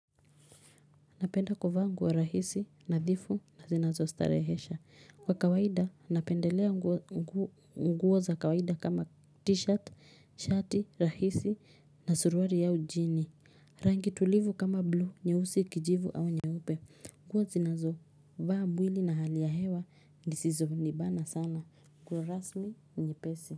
Napenda kuvaa nguo rahisi nadhifu na zinazo starehesha. Kwa kawaida, napendelea nguo za kawaida kama t-shirt, shati, rahisi na suruali au jini. Rangi tulivu kama blue, nyeusi kijivu au nyeupe. Nguo zinazo, vaa mwili na hali ya hewa zisizo nibana sana. Nguo rasmi nyepesi.